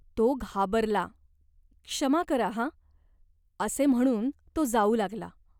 तो घाबरला. "क्षमा करा हा !" असे म्हणून तो जाऊ लागला.